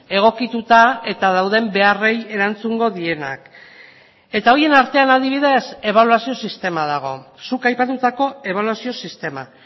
egokituta eta dauden beharrei erantzungo dienak eta horien artean adibidez ebaluazio sistema dago zuk aipatutako ebaluazio sistema